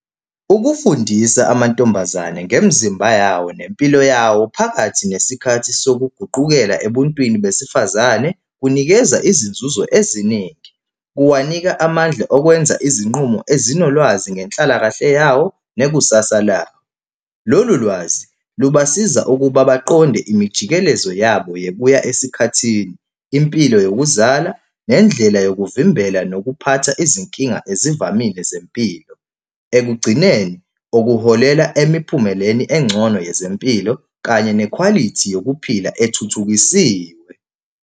Ukufundisa amantombazane ngemizimba yawo nempilo yawo phakathi nesikhathi sokuguqukela ebuntwini besifazane kunikeza izinzuzo eziningi. Kuwanika amandla okwenza izinqumo ezinolwazi ngenhlalakahle yawo nekusasa lawo. Lolu lwazi lubasiza ukuba baqonde imijikelezo yabo yebuya esikhathini, impilo yokuzala, nendlela yokuvimbela nokuphatha izinkinga ezivamile zempilo. Ekugcineni okuholela emiphumeleni engcono yezempilo kanye nekhwalithi yokuphila ethuthukisiwe.